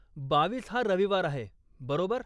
बावीस हा रविवार आहे, बरोबर?